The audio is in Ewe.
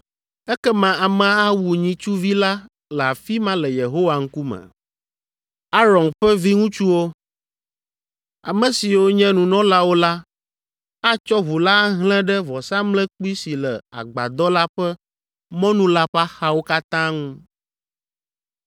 Ekema amea awu nyitsuvi la le afi ma le Yehowa ŋkume. Aron ƒe viŋutsuwo, ame siwo nye nunɔlawo la atsɔ ʋu la ahlẽ ɖe vɔsamlekpui si le agbadɔ la ƒe mɔnu la ƒe axawo katã ŋu.